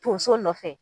Tonso nɔfɛ